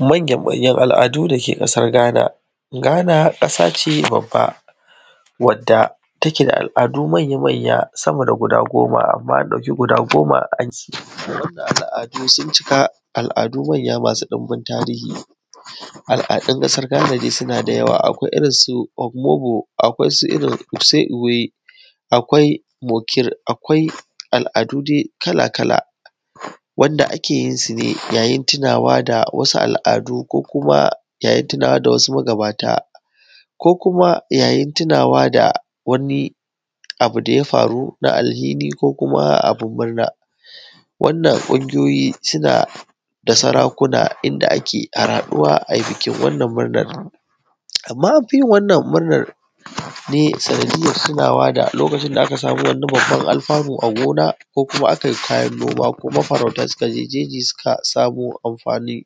Manya manyan al'adu da ke ƙasar Ghana. Ghana ƙasa ce babba wadda take da al'adu manya-manya sama da guda goma amma an ɗauki guda goma al'adu sun cika al'adu manya masu ɗimbin tarihi. Al'adun kasar Ghana dai suna da yawa, akwai irinsu omobo, akwai su irin Use Iwe, akwai Mokir, akwai al'adu dai kala-kala wanda ake yinsu ne yayin tinawa da wasu al'adu ko kuma tunawa da wasu magabata, ko kuma yayin tinawa da wani abu da ya faru na alhini ko kuma abun murna. Wannan ƙungiyoyi suna da sarakuna inda ake harhaɗuwa ayi bikin wannan murnan. Amma an fi yin wannan murnar ne sanadiyar tunawa da lokacin da aka samu wannan alfanu a gona ko kuma aka yi kayan noma ko mafarauta suka je jeji suka samo amfani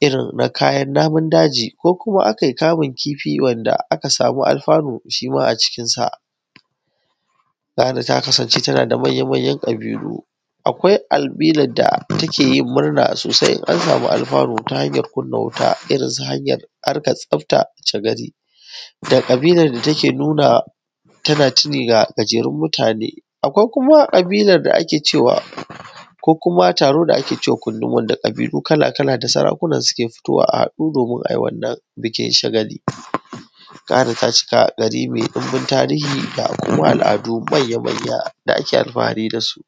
irin kayan namun daji ko kuma aka yi kamun kifi wanda aka samu alfanu shima a cikinsa. Ghana ta kasance tana da manya-manyan ƙabilu. Akwai albinar da take yin murna sosai in an samu alfanu ta hanyar kunna wuta irinsu hanyar harkar tsafta cagari, da ƙabilar da take nuna tana tini da gajerun mutane. Akwai kuma ƙabilar da ake ce wa ko kuma taro da ake we wa kundun wanda ƙabilu kala-kala da sarakuna suna fitowa a haɗu domin a yi wannan bikin shagali. Ghana ta cika gari mai ɗumbin tarihi da kuma al'adu manya-manya da ake alfahari da su